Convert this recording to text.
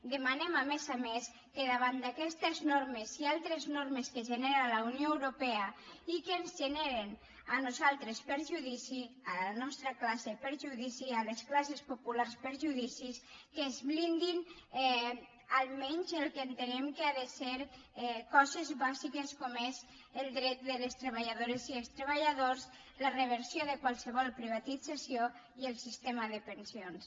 demanem a més a més que davant d’aquestes normes i altres normes que genera la unió europea i que ens generen a nosaltres perjudici a la nostra classe perjudici a les classes populars perjudicis que es blindi almenys el que entenem que han de ser coses bàsiques com són els drets de les treballadores i els treballadores la reversió de qualsevol privatització i el sistema de pensions